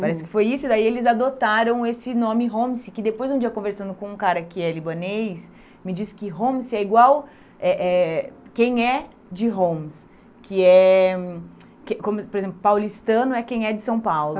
Parece que foi isso, daí eles adotaram esse nome Homs, que depois de um dia conversando com um cara que é libanês, me disse que Homs é igual é é quem é de Homs, que é hum, como por exemplo, paulistano é quem é de São Paulo.